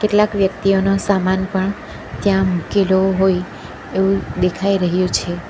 ક્લાક વ્યક્તિઓનો સામાન પણ ત્યાં મુકેલો હોય એવું દેખાય રહ્યું છે.